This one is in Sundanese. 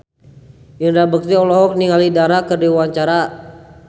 Indra Bekti olohok ningali Dara keur diwawancara